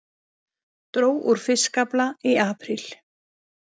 Dró úr fiskafla í apríl